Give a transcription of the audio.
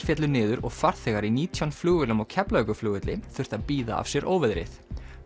féllu niður og farþegar í nítján flugvélum á Keflavíkurflugvelli þurftu að bíða af sér óveðrið